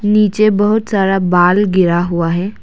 नीचे बहुत सारा बाल गिरा हुआ है।